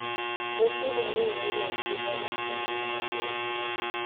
Ngwĩciria rĩu nĩrĩo ihinda rĩa kũniina ũndũ ũcio.